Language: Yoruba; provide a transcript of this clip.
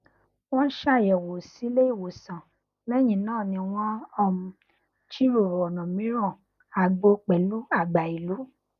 wọn ṣàyẹwò sí ilé ìwòsàn lẹyìn náà ni wọn um jiròrò ọnà mìíràn àgbo pẹlú àgbà ìlú